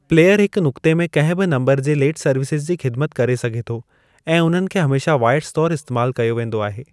Player हिकु नुक़ते में कंहिं बि नम्बरु जे लेट सर्विसिज़ जी ख़िदिमत करे सघे थो ऐं उन्हनि खे हमेशा वॉयड्स तौरु इस्तेमालु कयो वेंदो आहे।